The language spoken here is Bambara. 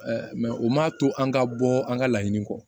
o ma to an ka bɔ an ka laɲini kɔ